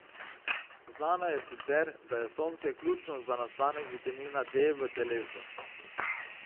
Znano je sicer, da je sonce ključno za nastanek vitamina D v telesu.